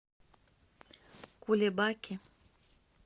кулебаки